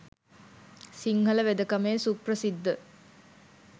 සිංහල වෙදකමේ සුප්‍රසිද්ධ